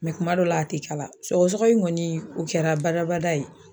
kuma dɔw la a tɛ kala, sɔgɔsɔgɔ in kɔni o kɛra badabada ye.